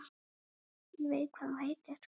Ég veit hvað þú heitir.